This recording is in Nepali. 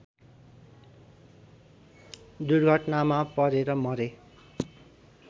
दुर्घटनामा परेर मरे